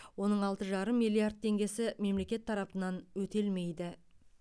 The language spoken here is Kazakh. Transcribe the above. оның алты жарым миллиард теңгесі мемлекет тарапынан өтелмейді